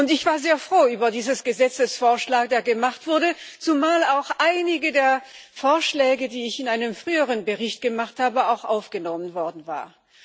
Ich war sehr froh über diesen Gesetzesvorschlag, der gemacht wurde, zumal auch einige der Vorschläge, die ich in einem früheren Bericht gemacht habe, aufgenommen worden waren.